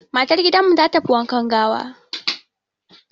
Matar gidanmu ta tafi wankan gawa.